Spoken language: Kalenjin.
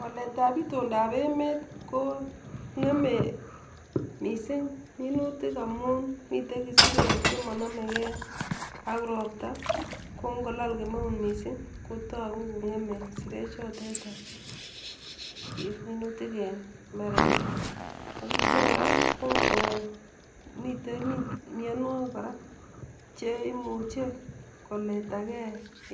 Waletap itontap emet ko ng'eme misiing' amun miten isirek chemonomege ak ropta ko ngolal kemeut misiing' ko togu kong'eme isirechotet minutik en mbarenik ak ityo kora ko ngo miten mianwogik kora cheimuche koletage